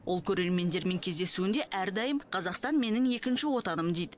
ол көрермендермен кездесуінде әрдайым қазақстан менің екінші отаным дейді